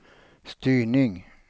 styrning